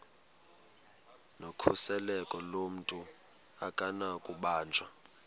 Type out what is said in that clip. nokhuseleko lomntu akunakubanjwa